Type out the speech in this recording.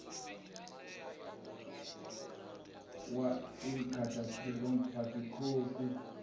wa inkatha freedom party khosi